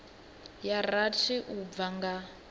ya rathi u bva nga